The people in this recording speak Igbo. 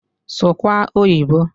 Suwa Oyiboǃ